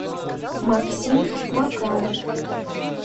максим макаров